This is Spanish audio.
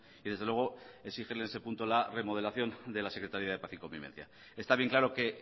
y desde luego exigir en ese punto la remodelación de la secretaría de paz y convivencia está bien claro que